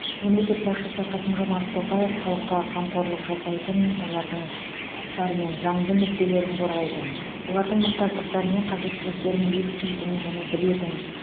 мемлекет басшысы қасым жомарт тоқаев халыққа қамқорлық жасайтын олардың құқықтары мен заңды мүдделерін қорғайтын олардың мұқтаждықтары мен қажеттіліктерін еститін және білетін